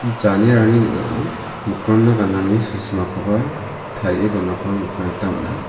janerani ning·ao mikronna ganani sosimakoba tarie donako nikna gita man·a.